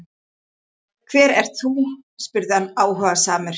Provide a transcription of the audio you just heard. Hver ert þú? spurði hann áhugasamur.